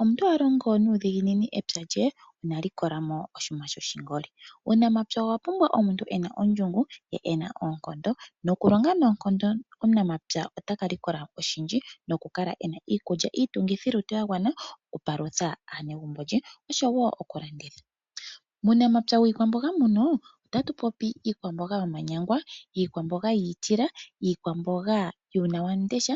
Omuntu ohalongo nuudhiginini empya lye inaalikolamo oshinima shoshi ngoli. Uunamapya owapumbwa omuntu ena ondjongo ye ena oonkondo ,nokulonga noonkondo. Omunamapya otaka likola oshindji nokukala ena iikulya iitungithi lutu ya gwana oku palutha aanegumbo ye osho woo okulanditha. Uunamapya wii kwamboga muno itatu popi iikwamboga yomanyangwa , iikwamboga yiitila , ikwamboga yuunawamundesha .